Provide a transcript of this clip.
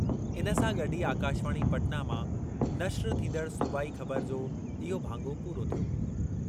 इन सां गॾु ई आकाशवाणी, पटना मां नश्र थींदड़ सूबाई ख़बर जो इहो भाङो पूरो थियो।